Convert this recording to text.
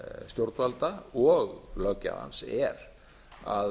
stjórnvalda og löggjafans er að